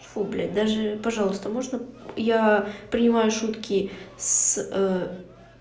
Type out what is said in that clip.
фу блядь даже пожалуйста можно я принимаю шутки с